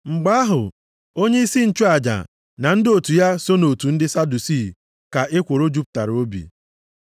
Mgbe ahụ onyeisi nchụaja na ndị otu ya so nʼotu ndị Sadusii ka ekworo jupụtara obi.